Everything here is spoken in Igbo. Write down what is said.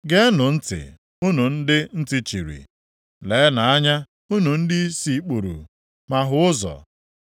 “Geenụ ntị, unu ndị ntị chiri, leenụ anya unu ndị ìsì kpuru, ma hụ ụzọ.